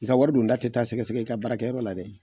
I ka wari don da tɛ taa sɛgɛsgɛ i ka baarakɛyɔrɔ la dɛ